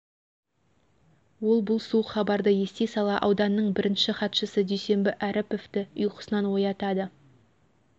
ол бұл суық хабарды ести сала ауданның бірінші хатшысы дүйсенбі әріповті ұйқысынан оятады